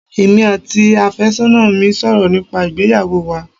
Emi àti àfẹ́sọ́nà mi ń sọ̀rọ̀ nípa ìgbéyàwó wa